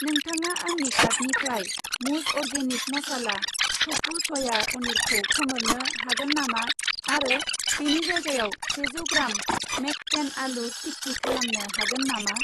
नोंथाङा आंनि कार्टनिफ्राय मुज अर्गेनिक मसाला टफु सया पनिरखौ खोमोरनो हागोन नामा आरो बेनि जायगायाव सेजौ ग्राम मेककेन आलु टिक्की खालामनो हागोन नामा?